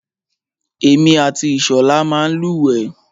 Èmi àti Ìṣọ̀lá máa ń lúwẹ̀ẹ́.